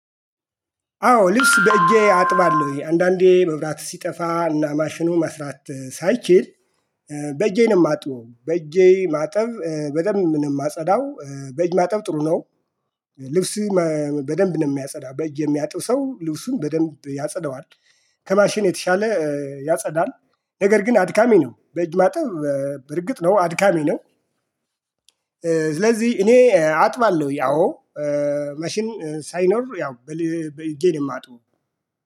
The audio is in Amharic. አዎ ልብስ በእጄ አጥባለሁ አንዳንዴ መብራት ሲጠፋ እና ማሽኑ መስራት ሳይችል። በእጄ ነው የማጥበው በእጄ ማጠብ በደንብ ነው የማጸዳው በእጅ ማጠብ ጥሩ ነው። ልብስ በደንብ ነው የሚያጸዳው በጅ የሚያጥብ ሰው ልብሱን በደንብ ያጸዳዋል። ከማሽን የተሻለ ያጸዳል። ነገር ግን አድካሚ ነው በእጅ ማጠብ በርግጥ ነው አድካሚ ነው። ስለዚህ እኔ አጥባለሁ አዎ። ማሽን ሳይኖር ያው በእጄ ነው የማጥበው